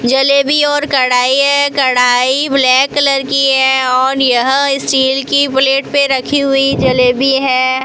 जलेबी और कड़ाई है कड़ाई ब्लैक कलर की है और यह स्टील की प्लेट पे रखी हुई जलेबी है।